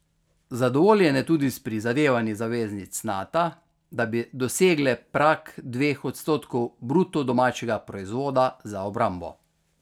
Zadovoljen je tudi s prizadevanji zaveznic Nata, da bi dosegle prag dveh odstotkov bruto domačega proizvoda za obrambo.